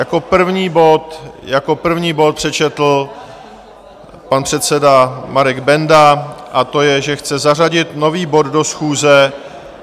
Jako první bod přečetl pan předseda Marek Benda, a to je, že chce zařadit nový bod do schůze.